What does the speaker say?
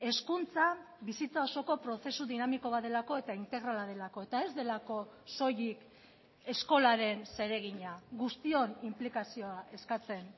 hezkuntza bizitza osoko prozesu dinamiko bat delako eta integrala delako eta ez delako soilik eskolaren zeregina guztion inplikazioa eskatzen